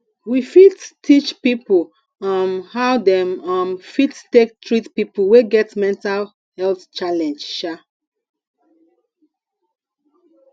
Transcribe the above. we fit teach pipo um how dem um fit take treat pipo wey get mental health challenge um